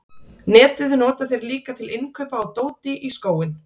netið nota þeir líka til innkaupa á dóti í skóinn